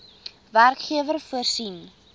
werkgewer voorsien